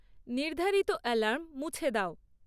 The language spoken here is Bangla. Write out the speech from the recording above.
নির্ধারিত অ্যালার্ম মুছে দাও